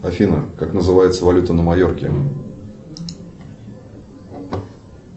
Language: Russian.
афина как называется валюта на майорке